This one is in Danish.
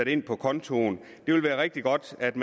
ind på kontoen det ville være rigtig godt at